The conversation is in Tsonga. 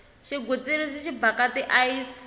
xigwitsirisi xi bhaka ti ayisi